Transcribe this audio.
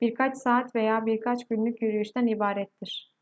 birkaç saat veya birkaç günlük yürüyüşten ibarettir